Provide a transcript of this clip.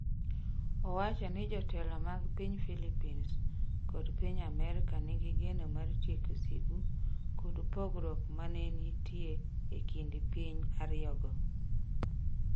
Owacho ni jotelo mag piny Philippines kod piny Amerka nigi geno mar tieko sigu kod pogruok ma ne nitie e kind piny ariyogo.